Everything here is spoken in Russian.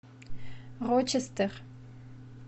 рочестер